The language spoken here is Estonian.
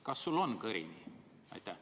Kas sul on kõrini?